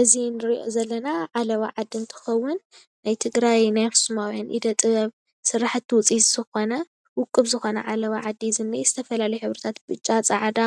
እዚ እንትንሪኦ ዘለና ዓለባ ዓዲ እንትከውን ናይ ትግራይ ኣክሱማዊያን ኣዲጥበብ ስራሕቲ ውፅኢት ዝኮነ ዉቅብ ዝኮነ ዓለባ ዓዲ እዩ ዝንአ ዝተፈላለዩ ሕብሪ ብጫ፣ ፃዕዳ፣